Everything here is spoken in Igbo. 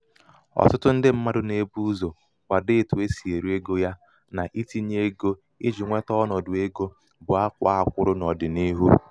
ọ̀ṭụ̣tụ ndị mmadụ̀ nà-èbu ụzọ̀ kwadoo otu e sì èri egō ya nà itīnyē egō ijī nweta ọnọ̀dụ̀ egō bụ a kwàa a kwụrụ n’ọ̀dị̀nihu.